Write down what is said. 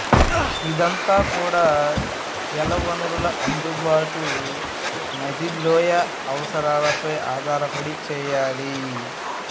ఇదంతా కూడా జలవనరుల అందుబాటు నదీలోయ అవసరాలపై ఆధారపడి చేయాలి